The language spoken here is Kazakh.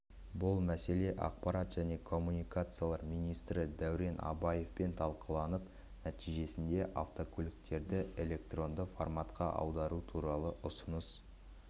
бұл мәселе ақпарат және коммуникациялар министрі дәурен абаевпен талқыланып нәтижесінде автокөліктерді электронды форматқа аудару туралы ұсыныс